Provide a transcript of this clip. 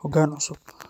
hoggaan cusub.